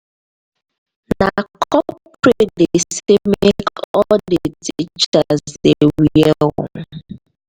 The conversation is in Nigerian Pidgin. na corporate dem sey make all di teachers dey wear o.